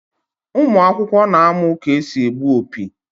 Ụmụ akwụkwọ n'amu ka esị egbụ opi